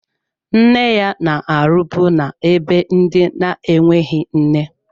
Nne ya na-arụbu na-ebe ndị na-enweghị nne.